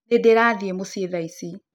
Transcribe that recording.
Niĩ ndirathiĩ mũciĩ thaa ici.